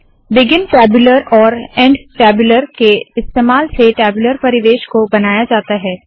begin tabular और end tabular के इस्तेमाल से टैब्यूलर परिवेश को बनाया जाता है